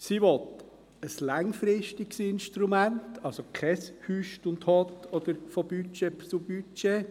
Sie will ein langfristiges Instrument, also kein Hott und Hüst oder von Budget zu Budget.